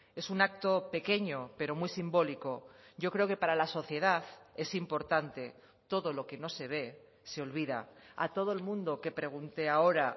es un acto pequeño pero muy simbólico yo creo que para la sociedad es importante todo lo que no se ve se olvida a todo el mundo que pregunte ahora